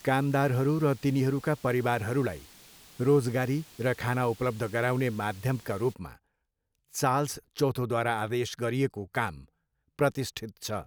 कामदारहरू र तिनीहरूका परिवारहरूलाई रोजगारी र खाना उपलब्ध गराउने माध्यमका रूपमा चार्ल्स चौथोद्वारा आदेश गरिएको काम प्रतिष्ठित छ।